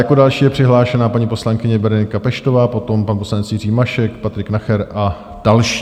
Jako další je přihlášená paní poslankyně Berenika Peštová, potom pan poslanec Jiří Mašek, Patrik Nacher a další.